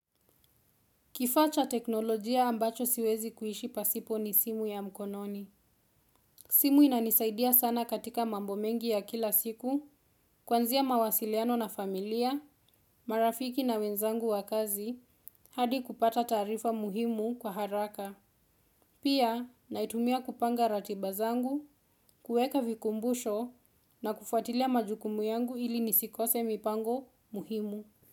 Kifaa cha teknolojia ambacho siwezi kuishi pasipo ni simu ya mkononi. Simu inanisaidia sana katika mambo mengi ya kila siku, kuanzia mawasiliano na familia, marafiki na wenzangu wa kazi, hadi kupata taarifa muhimu kwa haraka. Pia, naitumia kupanga ratiba zangu, kueka vikumbusho na kufuatilia majukumu yangu ili nisikose mipango muhimu.